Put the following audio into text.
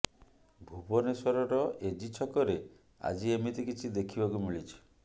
ଭୁବନେଶ୍ୱରର ଏଜି ଛକରେ ଆଜି ଏମିତି କିଛି ଦେଖିବାକୁ ମିଳିଛି